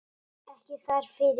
Ekki þar fyrir.